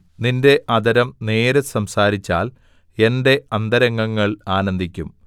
നിന്റെ അധരം നേര് സംസാരിച്ചാൽ എന്റെ അന്തരംഗങ്ങൾ ആനന്ദിക്കും